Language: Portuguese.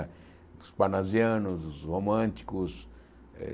Os parnasianos, os românticos. Eh